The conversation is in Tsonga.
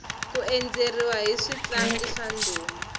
ku endzeriwa hi switlangi swa ndhuma